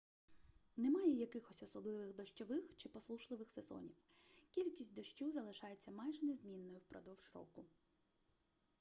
немає якихось особливих дощових чи посушливих сезонів кількість дощу залишається майже незмінною впродовж року